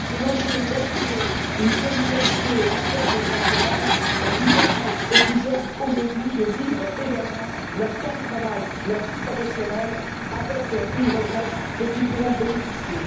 C'est l'enjeu d'assurer une solidarité intergénérationnelle qui permette aux plus jeunes aujourd'hui de vivre également leur temps de travail, leur vie professionnelle, avec une retraite dont ils pourront bénéficier.